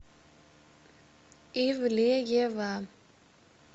ивлеева